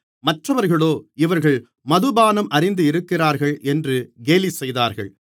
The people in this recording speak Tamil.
மற்றவர்களோ இவர்கள் மதுபானம் அருந்தியிருக்கிறார்கள் என்று கேலிசெய்தார்கள்